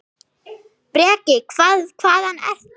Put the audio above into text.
Breki: Hvað, hvaðan ertu?